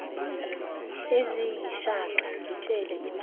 eziyishaka ngitshele imaphi